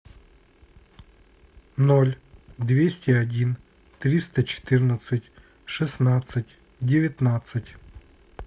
ноль двести один триста четырнадцать шестнадцать девятнадцать